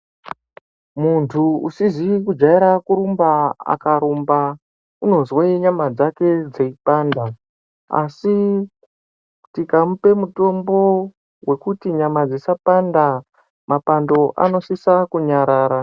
Muntu usizi kujaira kurumba akarumba unozwe nyama dzake dzeipanda asi tikamupe mutombo wekuti nyama dzisapanda mapando anosisa kunyarara.